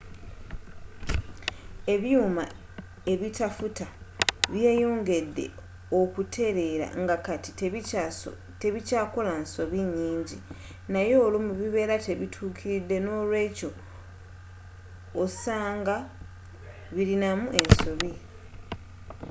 ebyuma eitafuta byeyongedde okutelela nga kati tebikyakola nsobi nyingi nayeolumu bibera nga tebitukilidde n'olwekyo ossanga nga bilinamu ensobi